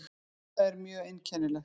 Það er mjög einkennilegt.